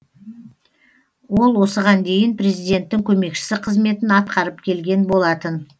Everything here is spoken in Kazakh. ол осыған дейін президенттің көмекшісі қызметін атқарып келген болатын